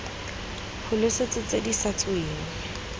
pholese tse di sa tsweng